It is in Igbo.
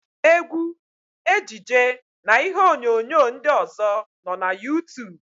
Égwú, ejije na ihe onyonyo ndị ọ̀zọ́ nọ na Yuutub.